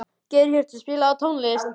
Geirhjörtur, spilaðu tónlist.